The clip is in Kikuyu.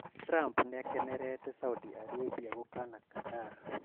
Trump niakenerete Saudi Aribia gũkana Qatar